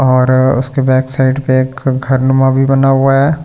और उसके back side पर एक घरनुमा भी बना हुआ है।